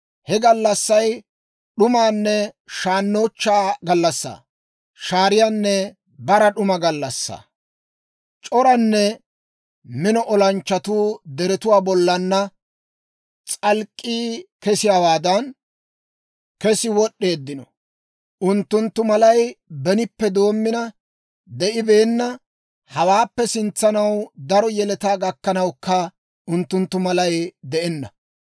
He gallassay d'umanne shaannochchaa gallassaa; shaariyaanne bara d'uma gallassaa! C'oranne mino olanchchatuu deretuwaa bollan s'alk'k'ii kesiyaawaadan kessi wod'd'eeddino. Unttunttu malay benippe doommina de'ibeenna; hawaappe sintsanaw daro yeletaa gakkanawukka unttunttu malay de'enna.